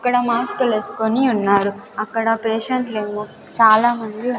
ఇక్కడ మాస్క్ లు వేసుకొని ఉన్నారు అక్కడ పేషెంట్ లేమో చాలామంది.